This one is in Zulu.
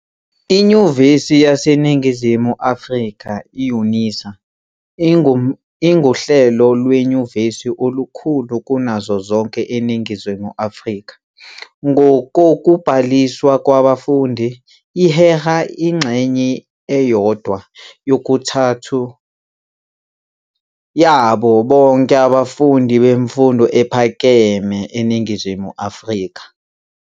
INyuvesi yase Ningizimu Africa, UNISA, inguhlelo lwenyuvesi olukhulu kunazo zonke eNingizimu Afrika ngokokubhaliswa kwabafundi. Iheha ingxenye eyodwa yokuthathu yabo bonke abafundi bemfundo ephakeme eNingizimu Afrika.